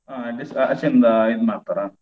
ಅಲ್ಲಿಸಾ ಆಚೆಯಿಂದ ಇದು ಮಾಡ್ತಾರಾ?